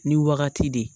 Ni wagati de